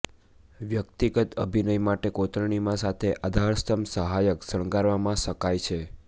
વ્યક્તિગત અભિનય માટે કોતરણીમાં સાથે આધારસ્તંભ સહાયક શણગારવામાં શકાય છે